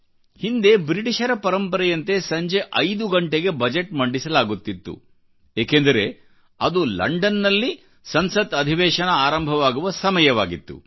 ಹಿಂದೆ ಬ್ರಿಟಿಷರ ಪರಂಪರೆಯಂತೆ ಸಂಜೆ 5 ಗಂಟೆಗೆ ಬಜೆಟ್ ಮಂಡಿಸಲಾಗುತ್ತಿತ್ತು ಏಕೆಂದರೆ ಅದು ಲಂಡನ್ನಲ್ಲಿಸಂಸತ್ ಅಧಿವೇಶನ ಆರಂಭವಾಗುವ ಸಮಯವಾಗಿತ್ತು